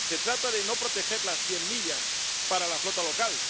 Se trata de no proteger las cien millas para la flota local.